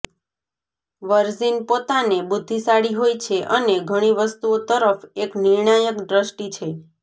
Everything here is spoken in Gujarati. વર્જિન પોતાને બુદ્ધિશાળી હોય છે અને ઘણી વસ્તુઓ તરફ એક નિર્ણાયક દ્રષ્ટિ છે